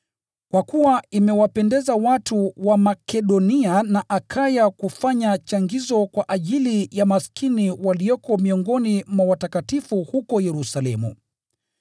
Kwa kuwa imewapendeza watu wa Makedonia na Akaya kufanya changizo kwa ajili ya maskini walioko miongoni mwa watakatifu huko Yerusalemu.